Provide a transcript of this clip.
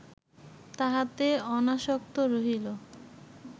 তাহাতে অনাসক্ত রহিল